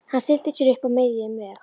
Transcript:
Hann stillti sér upp á miðjum vegi.